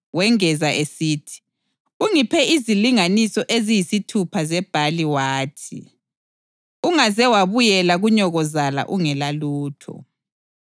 wengeza esithi, “Ungiphe izilinganiso eziyisithupha zebhali wathi, ‘Ungaze wabuyela kunyokozala ungelalutho.’ ”